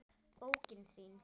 Bókin þín